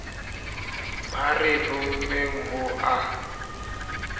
ba re rommeng ho a